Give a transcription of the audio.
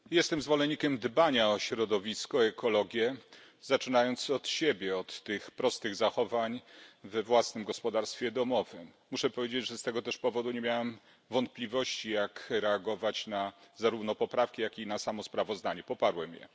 Panie Przewodniczący! Jestem zwolennikiem dbania o środowisko, o ekologię, zaczynając od siebie, od prostych zachowań we własnym gospodarstwie domowym. Muszę powiedzieć, że z tego też powodu nie miałem wątpliwości, jak reagować zarówno na poprawki, jak i na samo sprawozdanie poparłem je.